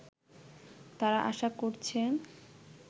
তারা আশা করছেন